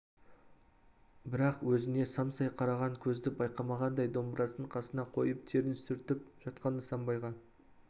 бірақ өзіне самсай қараған көзді байқамағандай домбырасын қасына қойып терін сүртіп жатқан нысанбайға